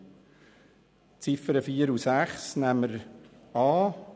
Die Ziffern 2 und 6 nehmen wir an.